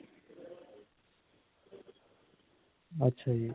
ਅੱਛਾ ਜੀ.